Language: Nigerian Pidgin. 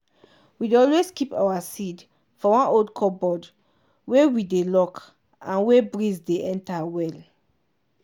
we dey always keep all our seed for one old cupboard wey we dey lock and wey breeze dey enter well.